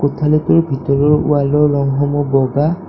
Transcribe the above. কোঠালীটোৰ ভিতৰৰ ৱাল ৰ ৰং সমূহ বগা।